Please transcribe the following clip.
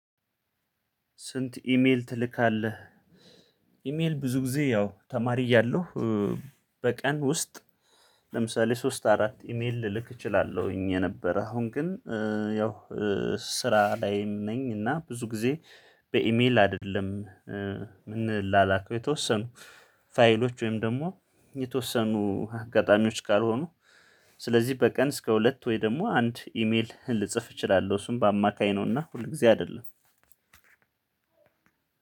ስንት ኢሜል ትልካለህ? ኢሜል ብዙ ጊዜ ያው ተማሪ እያለሁ በቀን ውስጥ ለምሳሌ ሶስት አራት ኢሜል ልልክ እችላለሁኝ። የነበረ አሁን ግን ያው ስራ ላይም ነኝ። እና ብዙ ጊዜ በኢሜል አድለም ምንላላከው የተወሰኑ ፋይሎች ወይም ደግሞ የተወሰኑ አጋጣሚዎች ካልሆኑ። ስለዚህ በቀን እስከ ሁለት ወይ ደግሞ አንድ ኢሜል ልጽፍ እችላለሁ። እሱን በአማካይ ነውና ሁል ጊዜ አይደለም።